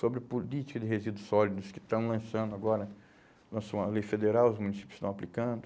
Sobre política de resíduos sólidos que estão lançando agora, lançou uma lei federal, os municípios estão aplicando.